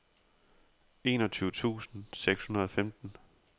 enogtyve tusind seks hundrede og femten